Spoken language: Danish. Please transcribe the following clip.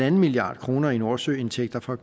en milliard kroner i nordsøindtægter fra